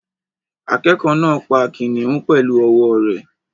Akẹ́kọ̀ọ́ náà pa kìnnìún pẹ̀lú ọwọ́ rẹ̀